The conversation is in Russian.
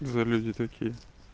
за люди такие